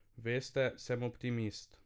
Veste, sem optimist.